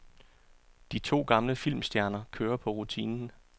De to gamle filmstjerner kører på rutinen.